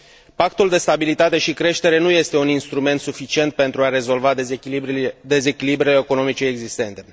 Pactul de stabilitate și creștere nu este un instrument suficient pentru a rezolva dezechilibrele economice existente.